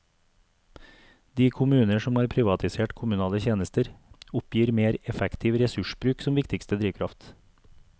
De kommuner som har privatisert kommunale tjenester, oppgir mer effektiv ressursbruk som viktigste drivkraft.